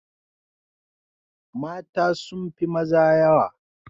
Mata sun fi maza yawa